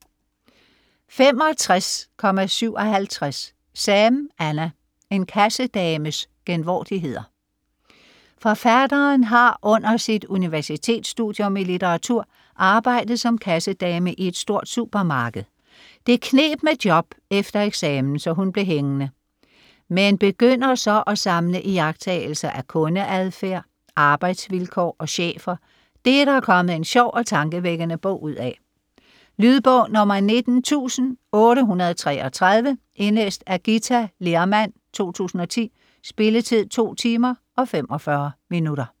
65.57 Sam, Anna: En kassedames genvordigheder Forfatteren har under sit universitetsstudium i litteratur arbejdet som kassedame i et stort supermarked. Det kneb med job efter eksamen, så hun blev hængende. Men begynder så at samle iagttagelser af kundeadfærd, arbejdsvilkår og chefer. Det er der kommet en sjov og tankevækkende bog ud af. Lydbog 19833 Indlæst af Githa Lehrmann, 2010. Spilletid: 2 timer, 45 minutter.